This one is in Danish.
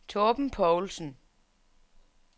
Torben Poulsen